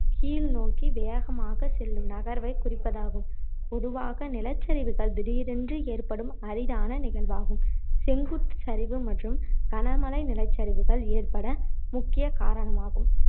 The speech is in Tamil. கீழ் நோக்கி வேகமாக செல்லும் நகர்வைக் குறிப்பதாகும் பொதுவாக நிலச்சரிவுகள் திடீரென்று ஏற்படும் அரிதான நிகழ்வாகும் செங்குத்து சரிவு மற்றும் கனமழை நிலச்சரிவுகள் ஏற்பட முக்கிய காரணமாகும்